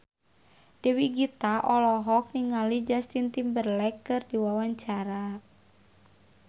Dewi Gita olohok ningali Justin Timberlake keur diwawancara